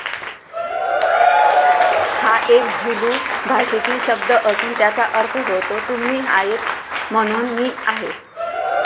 हा एक झुलू भाषेतील शब्द असून त्याचा अर्थ होतो तुम्ही आहेत म्हणून मी आहे.